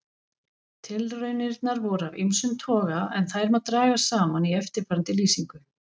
Tilraunirnar voru af ýmsum toga en þær má draga saman í eftirfarandi lýsingu.